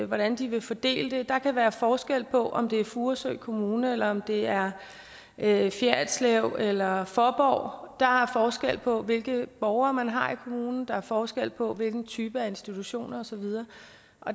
hvordan de vil fordele det der kan være forskel på om det er furesø kommune eller om det er er i fjerritslev eller i faaborg der er forskel på hvilke borgere man har i kommunen der er forskel på hvilken type af institutioner og så videre